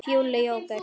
Fúli jóker.